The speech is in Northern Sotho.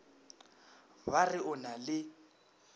ba re o na le